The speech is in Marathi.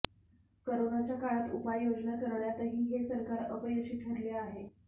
करोनाच्या काळात उपाययोजना करण्यातही हे सरकार अपयशी ठरले आहे